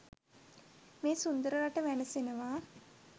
මේ සුන්දර රට වැනසෙනවා.